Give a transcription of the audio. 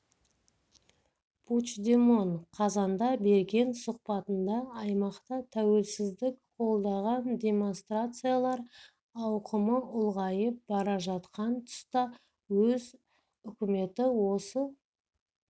пучдемон қазанда берген сұхбатында аймақта тәуелсіздік қолдаған демонстрациялар ауқымы ұлғайып бара жатқан тұста өз үкіметі осы